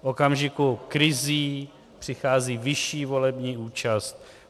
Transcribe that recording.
V okamžiku krizí přichází vyšší volební účast.